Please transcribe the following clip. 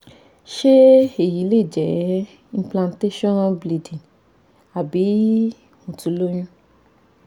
se eyi le jẹ́ impantation bleeding abi mo ti loyun